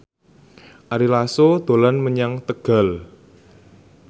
Ari Lasso dolan menyang Tegal